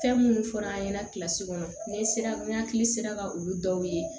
Fɛn minnu fɔra an ɲɛna kilasi kɔnɔ ni n sera n hakili sera ka olu dɔw ye